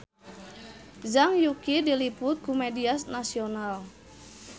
Zhang Yuqi diliput ku media nasional